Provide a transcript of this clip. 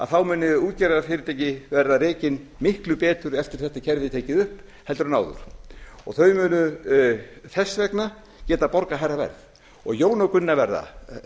þá muni útgerðarfyrirtæki verða rekin miklu betur eftir að þetta kerfi er tekið upp heldur en áður og þau munu þess vegna geta borgað hærra verð jón og gunna verða